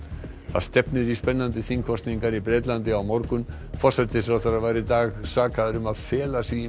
það stefnir í spennandi þingkosningar í Bretlandi á morgun forsætisráðherrann var í dag sakaður um að fela sig í